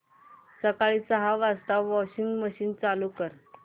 सकाळी सहा वाजता वॉशिंग मशीन चालू कर